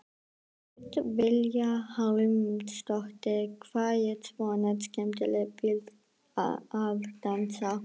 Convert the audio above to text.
Hödd Vilhjálmsdóttir: Hvað er svona skemmtilegt við að dansa?